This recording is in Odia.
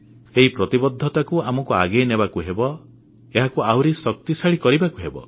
ଏହି ପ୍ରତିବଦ୍ଧତାକୁ ଆମେ ଆଗେଇ ନେବାକୁ ହେବ ଏହାକୁ ଆହୁରି ଶକ୍ତିଶାଳୀ କରିବାକୁ ହେବ